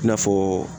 I n'a fɔ